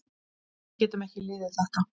Við getum ekki liðið þetta.